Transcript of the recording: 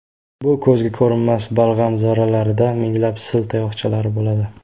Bu ko‘zga ko‘rinmas balg‘am zarralarida minglab sil tayoqchalari bo‘ladi.